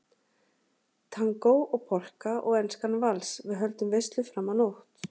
Tangó og Polka og Enskan vals, við höldum veislu fram á nótt